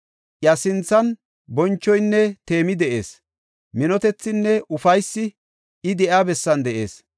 Iya sinthan bonchoynne teemi de7ees; minotethinne ufaysi I de7iya bessan de7ees.